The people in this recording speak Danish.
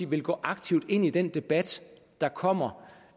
vil gå aktivt ind i den debat der kommer